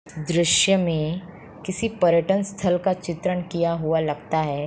दृश्य में किसी पर्यटन स्थल का चित्रण किया हुआ लगता है।